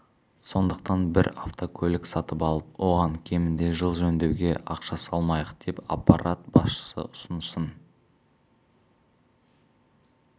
сондықтан бір автокөлік сатып алып оған кемінде жыл жөндеуга ақша салмайық деп аппарат басшысы ұсынысын